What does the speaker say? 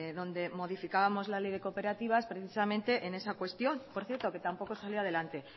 donde modificábamos la ley de cooperativas precisamente en esa cuestión que por cierto que tampoco salió adelante